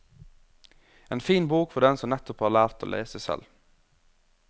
En fin bok for dem som nettopp har lært å lese selv.